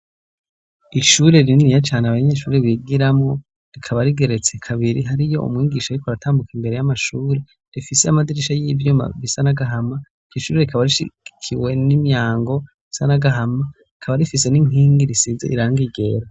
Ishure rininiya cane abanyeshuri bigiramwo, rikaba rigeretse kabiri, hariyo umwigisha ariko aratambuka imbere y'amashuri, rifise amadirisha y'ivyuma bisa n'agahama. Iryo shure rikaba rishigikiwe n'imyango isa n'agahama rikaba rifise n'inkingi risize irangi ryera.